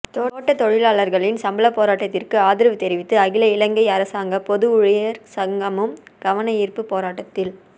தோட்டத் தொழிலாளர்களின் சம்பள போராட்டத்திற்கு ஆதரவு தெரிவித்து அகில இலங்கை அரசாங்க பொது ஊழியர் சங்கமும் கவனயீர்ப்பு போராட்டத்தில்